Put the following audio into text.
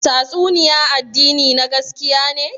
Tastunniya addini na gaskiya ne?